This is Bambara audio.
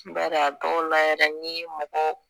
Bari a dɔw la yɛrɛ n ye maga